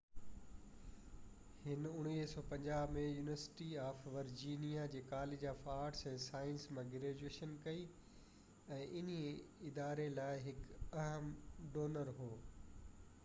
هِن 1950 ۾ university of Virginia جي college of arts ۽ sciences مان graduation ڪئي ۽ انهي اداري لاءِ هڪ اهم ڊونر هو